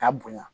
K'a bonya